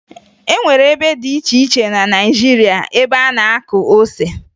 E nwere ebe dị iche iche na Naịjirịa ebe a na-akụ ose